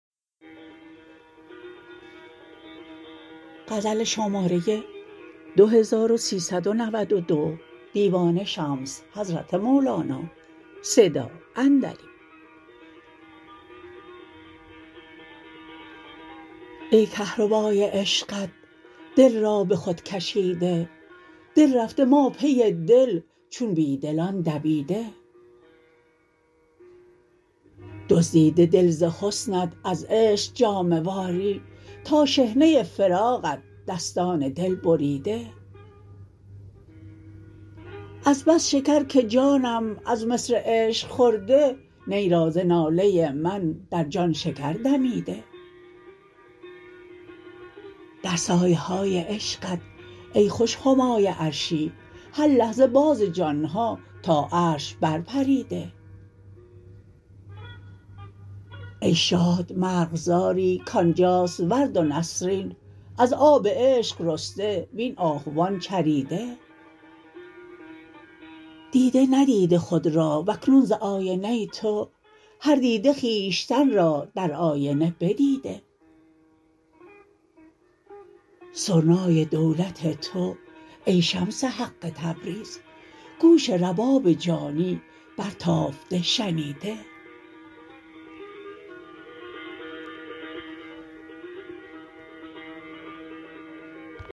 ای کهربای عشقت دل را به خود کشیده دل رفته ما پی دل چون بی دلان دویده دزدیده دل ز حسنت از عشق جامه واری تا شحنه فراقت دستان دل بریده از بس شکر که جانم از مصر عشق خورده نی را ز ناله من در جان شکر دمیده در سایه های عشقت ای خوش همای عرشی هر لحظه باز جان ها تا عرش برپریده ای شاد مرغزاری کان جاست ورد و نسرین از آب عشق رسته وین آهوان چریده دیده ندیده خود را و اکنون ز آینه تو هر دیده خویشتن را در آینه بدیده سرنای دولت تو ای شمس حق تبریز گوش رباب جانی برتافته شنیده